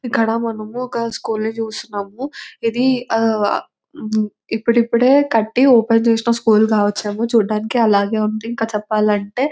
ఇక్కడ మనము ఒక స్కూల్ ని చూస్తున్నామా ఇది ఇప్పుడిప్పుడే కట్టి ఓపెన్ చేసిన స్కూల్ కావచ్చు ఏమో చూడడానికి అలానే ఉంది ఇంకా చెప్పాలంటే